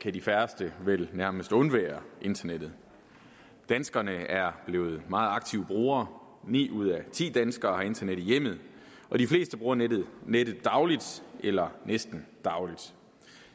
kan de færreste vel nærmest undvære internettet danskerne er blevet meget aktive brugere ni ud af ti danskere har internet i hjemmet de fleste bruger nettet nettet dagligt eller næsten dagligt